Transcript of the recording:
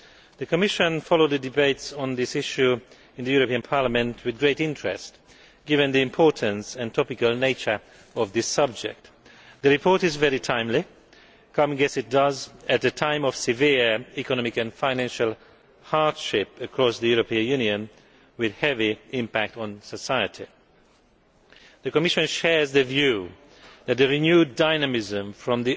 The Commission has followed the debates on this issue in the European Parliament with great interest, given the importance and topical nature of this subject. The report is very timely, coming as it does at a time of severe economic and financial hardship across the European Union with a heavy impact on society. The Commission shares the view that a renewed dynamism from